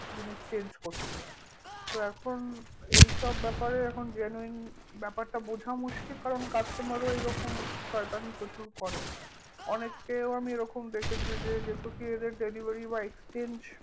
জিনিস change করছে তো এখন ব্যাপারে এখন genuine ব্যাপারটা বোঝা মুশকিল কারণ customer ও এরকম শয়তানি প্রচুর করে অনেককেও আমি এরকম দেখেছি যে যেটুকুই এদের delivery বা exchange